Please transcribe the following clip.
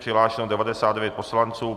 Přihlášeno 99 poslanců.